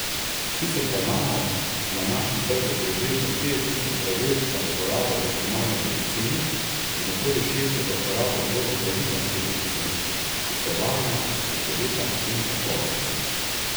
Sicer pa imamo na našem trgu približno štiri tisoč zdravil za uporabo v humani medicini in okoli šeststo za uporabo v veterinarski medicini, ki so varna, učinkovita in kakovostna.